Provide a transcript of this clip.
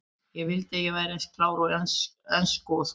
Ég vildi að ég væri eins klár í ensku og þú.